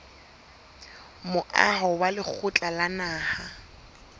moaho wa lekgotla la naha